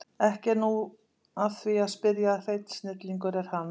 Ekki er nú að því að spyrja að hreinn snillingur er hann